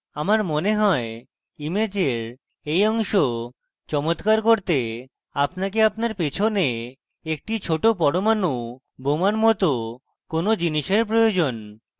আমার মনে হয় ইমেজের এই অংশ চমত্কার করতে আপনাকে আপনার পেছনে একটি ছোট পরমানু bomb মত কোনো জিনিসের প্রয়োজন